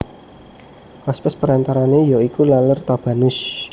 Hospes perantarane ya iku Laler Tabanus